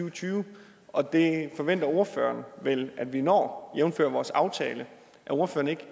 og tyve og det forventer ordføreren vel at vi når jævnfør vores aftale er ordføreren ikke